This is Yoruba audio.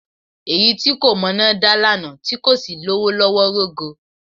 Èyí tí kò mọná dá lánàá tí kò sì lówó lọ́wọ́ rógo.